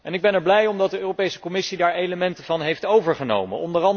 Ik ben er blij om dat de Europese Commissie daar elementen van heeft overgenomen.